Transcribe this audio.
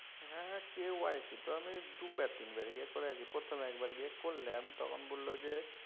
হা হ্যাঁ KYC তো আমি দুবার তিনবার গিয়া করাইসি। এই প্রথম একবার গিয়া করলাম তখন বলল যে